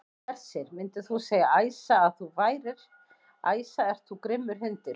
Hersir: Myndir þú segja, Æsa, að þú værir, Æsa ert þú grimmur hundur?